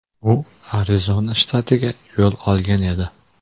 U Arizona shtatiga yo‘l olgan edi.